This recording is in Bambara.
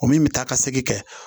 O min bɛ taa ka segin kɛ